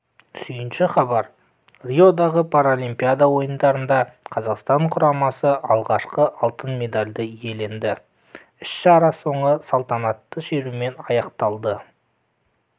сүйінші хабар риодағы паралимпиада ойындарында қазақстан құрамасы алғашқы алтын медальді иеленді іс-шара соңы салтанатты шерумен аяқталды